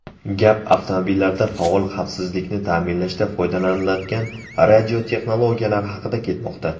Gap avtomobillarda faol xavfsizlikni ta’minlashda foydalaniladigan radiotexnologiyalar haqida ketmoqda.